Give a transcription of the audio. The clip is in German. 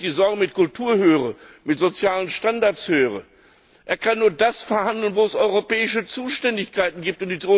Wenn ich die Sorge wegen der Kultur und der sozialen Standards höre Er kann nur das verhandeln, wo es europäische Zuständigkeiten gibt.